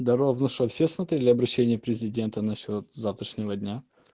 здоров ну что все смотрели обращение президента насчёт завтрашнего дня